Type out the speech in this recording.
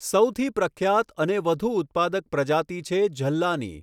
સૌથી પ્રખ્યાત અને વધુ ઉત્પાદક પ્રજાતિ છે ઝલ્લાની.